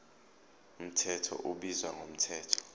mthetho ubizwa ngomthetho